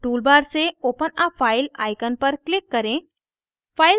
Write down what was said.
toolbar से open a file icon पर click करें